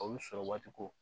O y'u sɔrɔ waati ko